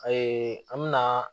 an mɛna